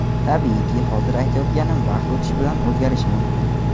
Tabiiyki, hozir aytayotganim vaqt o‘tishi bilan o‘zgarishi mumkin.